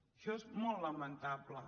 això és molt lamentable